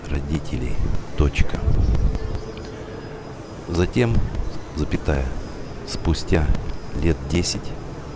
родителей точка затем запятая спустя лет десять